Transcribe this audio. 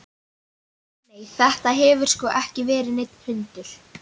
Nei, nei, þetta hefur sko ekki verið neinn hundur.